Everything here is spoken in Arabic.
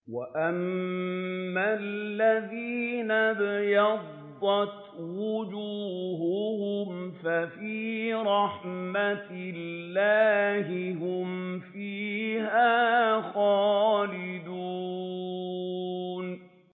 وَأَمَّا الَّذِينَ ابْيَضَّتْ وُجُوهُهُمْ فَفِي رَحْمَةِ اللَّهِ هُمْ فِيهَا خَالِدُونَ